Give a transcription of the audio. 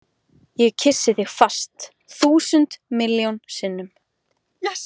Ég kyssi þig fast, þúsund miljón sinnum.